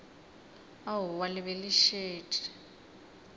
aowa le be le šetše